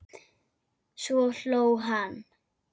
Svo hló hann.